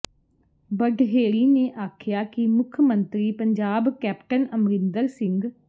ਬਡਹੇੜੀ ਨੇ ਆਖਿਆ ਕਿ ਮੁੱਖ ਮੰਤਰੀ ਪੰਜਾਬ ਕੈਪਟਨ ਅਮਰਿੰਦਰ ਸਿੰਘ